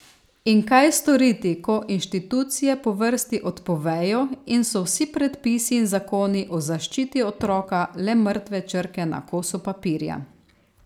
In kaj storiti, ko inštitucije po vrsti odpovejo in so vsi predpisi in zakoni o zaščiti otroka le mrtve črke na kosu papirja?